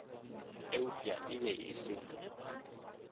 eupša e be e se